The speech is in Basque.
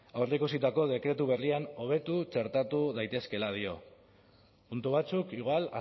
aurreikusitako dekretu berrian hobetu txertatu daitezkeela dio puntu batzuk igual